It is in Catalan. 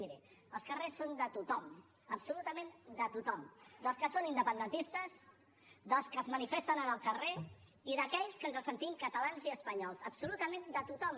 miri els carrers són de tothom absolutament de tothom dels que són independentistes dels que es manifesten en el carrer i d’aquells que ens sentim catalans i espanyols absolutament de tothom